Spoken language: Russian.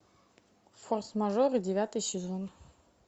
форс мажоры девятый сезон